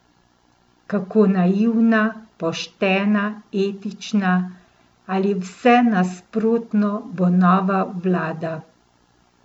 Kako naivna, poštena, etična ali vse nasprotno bo nova vlada?